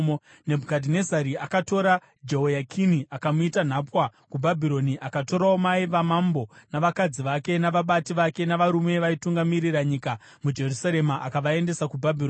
Nebhukadhinezari akatora Jehoyakini akamuita nhapwa kuBhabhironi. Akatorawo mai vamambo, navakadzi vake, navabati vake navarume vaitungamirira nyika muJerusarema akavaendesa kuBhabhironi.